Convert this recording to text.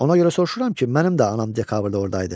Ona görə soruşuram ki, mənim də anam dekabrda orda idi.